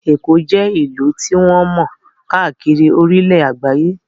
Èkó jẹ́ ìlú tí wọ́n mọ̀ káàkiri orílẹ̀ àgbáyé